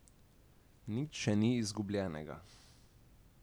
Nič še ni izgubljenega.